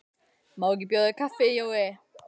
Má ekki bjóða þér kaffi, Jói?